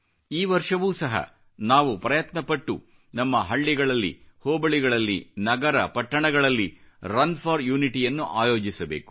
ಈ ವರ್ಷವೂ ಸಹ ನಾವು ಪ್ರಯತ್ನ ಪಟ್ಟು ನಮ್ಮ ಹಳ್ಳಿಗಳಲ್ಲಿ ಹೋಬಳಿಗಳಲ್ಲಿ ನಗರಪಟ್ಟಣಗಳಲ್ಲಿ ರನ್ ಫೋರ್ ಯುನಿಟಿ ಯನ್ನು ಆಯೋಜಿಸಬೇಕು